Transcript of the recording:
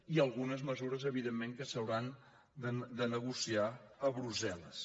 i algunes mesures evidentment que s’hauran de negociar a brussel·les